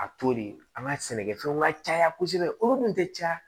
A to de an ka sɛnɛkɛfɛnw ka caya kosɛbɛ olu dun tɛ caya